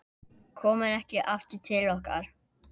Komir ekki aftur til okkar.